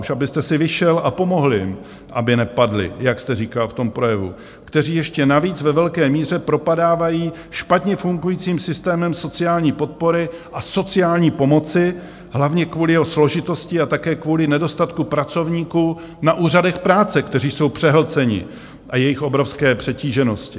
Už abyste si vyšel a pomohl jim, aby nepadli, jak jste říkal v tom projevu, kteří ještě navíc ve velké míře propadávají špatně fungujícím systémem sociální podpory a sociální pomoci hlavně kvůli jeho složitosti a také kvůli nedostatku pracovníků na úřadech práce, kteří jsou přehlceni, a jejich obrovské přetíženosti.